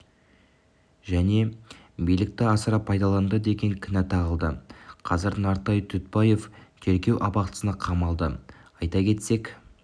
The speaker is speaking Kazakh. және билікті асыра пайдаланды деген кінә тағылды қазір нартай дүтбаев тергеу абақтысына қамалды айта кетсек